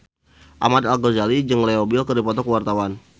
Ahmad Al-Ghazali jeung Leo Bill keur dipoto ku wartawan